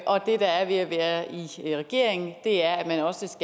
og det der er ved at være i regering er at man også